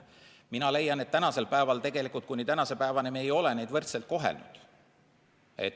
Mina leian, et tegelikult kuni tänase päevani ei ole neid võrdselt koheldud.